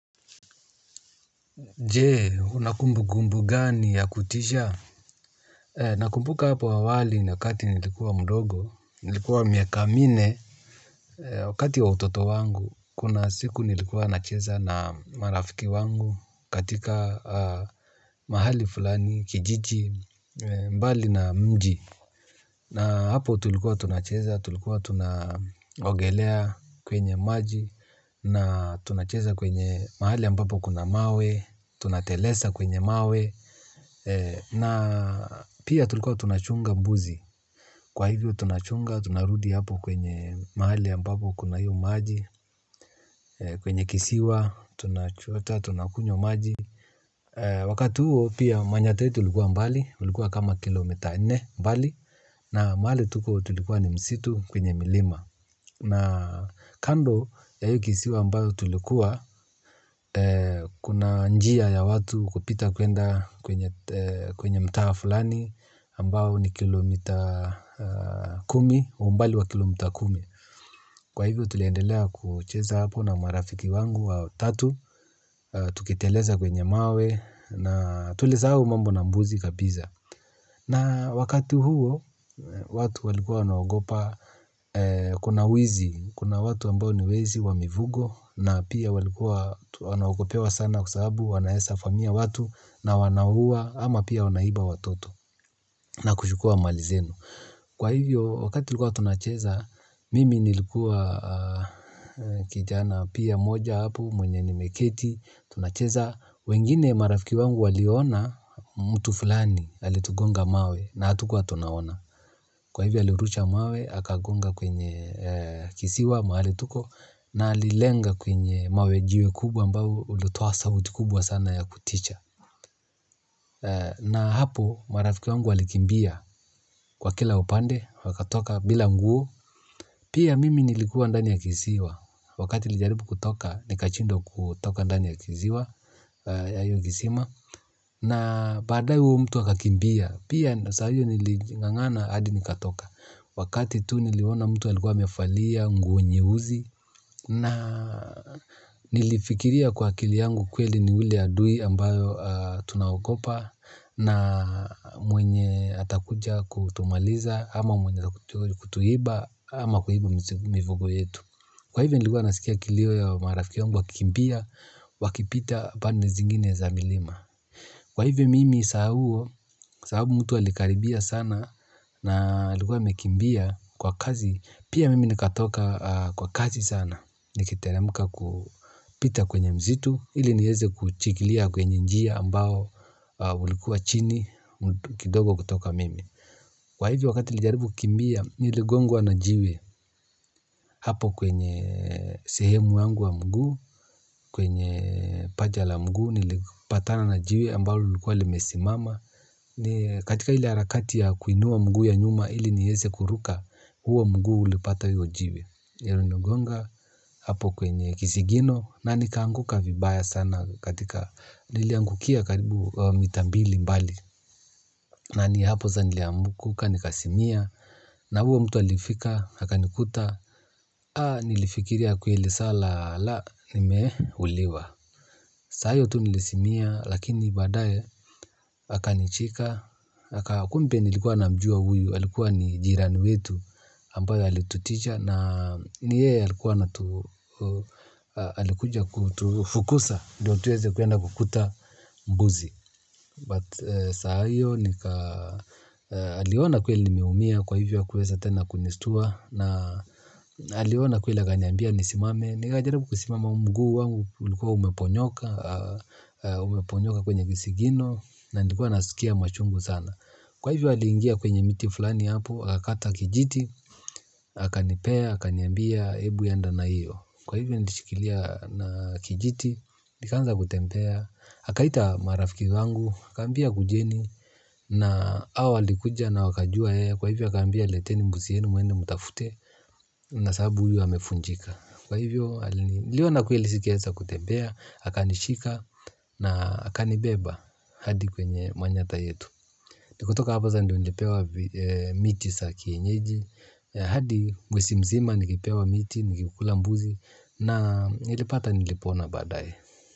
Je, unakumbu gumbu gani ya kutisha? Nakumbuka hapo awali na kati nilikuwa mdogo, nilikuwa miaka minne, wakati wa utoto wangu, kuna siku nilikuwa na cheza na marafiki wangu katika mahali fulani, kijiji, mbali na mji. Na hapo tulikua tunacheza, tulikuwa tunaogelea, kwenye maji, na tunacheza kwenye mahali ambapo kuna mawe, tunatelesa kwenye mawe, eeh. Na, pia tulikuwa tunachunga mbuzi. Kwa hivyo tunachunga tunarudi hapo kwenye mahali ambapo kuna hiyo maji. Kwenye kisiwa, tunachota tunakunywa maji, wakati huo pia, manyatta yetu ilikuwa mbali. Ulikuwa kama kilomita nne mbali. Na mahali tuko tulikuwa ni msitu kwenye milima. Na kando ya hii kisiwa ambayo tulikuwa, kuna njia ya watu, kupita kuenda kwenye mtaa fulani, ambao ni kilomita kumi, umbali wa kilomita kumi. Kwa hivyo, tuliendelea kucheza hapo na marafiki wangu wa tatu, tukiteleza kwenye mawe na tulisahau mambo na mbuzi kabiza. Na wakati huo, watu walikua wanaogopa, kuna wizi, kuna watu ambao ni wezi, wamivugo, na pia walikua wanagopewa sana kwasaabu wanaesa famia watu na wanahua, ama pia wanaiba watoto. Na kushukua malizenu. Kwa hivyo, wakati hua tunacheza, mimi nilikuwa kijana, pia moja hapo mwenye nimeketi tunacheza, wengine marafiki wangu waliona mtu fulani, alitugonga mawe na hatukua tunaona. Kwa hivyo alirusha mawe akagonga kwenye kisiwa mahali tuko na alilenga kwenye mawe jiwe kubwa ambao ulitoa sa utikubwa sana ya kuticha. Na hapo, marafiki wangu walikimbia. Kwa kila upande wakatoka bila nguo. Pia, mimi nilikuwa ndani ya kisiwa. Wakati nilijaribu kutoka ni kachindwa kutoka ndani ya kisiwa ya hio kisima. Na baadaye huo mtu akakimbia. Pia, na saaio nilingangana hadi nikatoka. Wakati tu niliona mtu alikuwa amefalia, nguo nyeuzi na nilifikiria kwa akili yangu, kweli ni ule adui ambayo tunaokopa. Na mwenye atakuja kutumaliza ama mwenye atakuja kutuhiba ama kuhiba mivogo yetu. Kwa hivyo niligua nasikia kilio ya marafikiangu wakikimpia, wakipita bane zingine za milima. Kwa hivyo mimi sahabu mtu alikaribia sana. Na alikua amekimbia kwa kazi. Pia mimi nikatoka kwa kazi sana. Nikitere muka kupita kwenye mzitu. Ili nieze kuchikilia kwenye njia ambao ulikuwa chini kidogo kutoka mimi kwa hivi wakati lijaribu kumbia niligongwa na jiwe hapo kwenye sehemu yangu wa mgu kwenye paja la mgu nilipatana na jiwe ambalo ulikuwa limesi mama katika hili harakati ya kuinua mguu ya nyuma hili niese kuruka huwa mguu ulipata hiyo jiwe niligonga hapo kwenye kisigino na nikanguka vibaya sana katika niliangukia karibu mita mbili mbali. Na ni hapo za niliamukuka ni kasimia na huwa mtu alifika haka nikuta. Haa nilifikiria kuhili sala la nimehuliwa. Saa iyo tu nilisimia lakini badaye haka nichika. Hakumpe nilikuwa na mjua huyu halikuwa ni jirani wetu. Ampaya halituticha na ni yeye alikuwa alikuja kutufukuza ndo mbuzi but saa iyo nika aliona kweli nimeumia kwa ivyo hakuweza tena kunistua na aliona kweli akaniambia nikasimame nikajaribu kusimama mguu wangu ulikuwa umeponyoka. Umeponyoka kwenye kisigino. Na nilikuwa nasikia machungu sana. Kwa hivyo alingia kwenye miti fulani hapo. Hakata kijiti, aka nipea, haka niambia, ebu enda na iyo. Kwa hivyo nilishikilia na kijiti. Nikaanza kutempea, hakaita marafiki wangu. Akambia kujeni na awalikuja na wakajua ya kwa hivyo akambia leteni mbuzi yenu mwende mutafute na sabu huyu hamefunjika. Kwa hivyo liwana kuilisikeza kutembea, hakanishika na hakanibeba hadi kwenye manyata yetu. Nikutoka hapaza ndionjepewa miti sa kienyeji, hadi mwesimzima nikipewa miti, nikikula mbuzi na nilipata nilipona badaye.